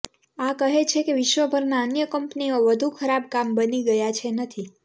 આ કહે છે કે વિશ્વભરના અન્ય કંપનીઓ વધુ ખરાબ કામ બની ગયા છે નથી